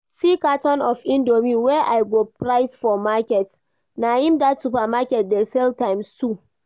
See carton of indomie wey I go price for market, na im that supermarket dey sell times two